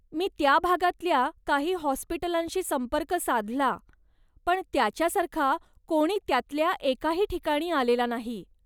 मी त्या भागातल्या काही हाॅस्पिटलांशी संपर्क साधला, पण त्याच्यासारखा कोणी त्यातल्या एकाही ठिकाणी आलेला नाही.